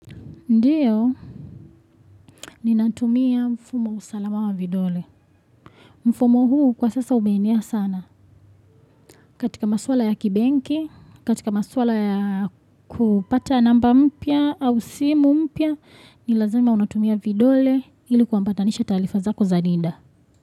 Ndiyo, ninatumia mfumo usalama wa vidole. Mfumo huu kwa sasa umeenea sana. Katika maswala ya kibenki, katika maswala ya kupata namba mpya au simu mpya, ni lazima unatumia vidole ili kuambatanisha taarifa zako za NIDA.